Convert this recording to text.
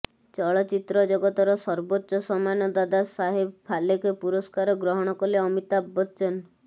ଚଳଚ୍ଚିତ୍ର ଜଗତର ସର୍ବୋଚ୍ଚ ସମ୍ମାନ ଦାଦା ସାହେବ ଫାଲକେ ପୁରସ୍କାର ଗ୍ରହଣ କଲେ ଅମିତାଭ ବଚ୍ଚନ